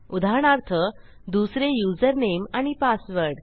उदाहरणार्थ दुसरे युजरनेम आणि पासवर्ड